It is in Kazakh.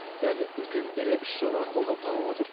кәзір үлкен ірі үш жоба қолдау тауып отыр